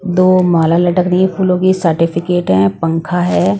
दो माला लटक रहीं हैं फूलों की सर्टिफिकेट हैं पंखा है।